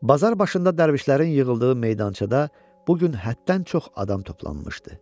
Bazar başında dərvişlərin yığıldığı meydançada bu gün həddən çox adam toplanmışdı.